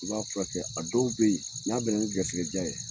I b'a furakɛ a dɔw be yen n'a bɛna ni garisigɛ ja ye